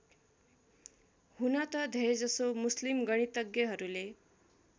हुन त धेरैजसो मुस्लिम गणितज्ञहरूले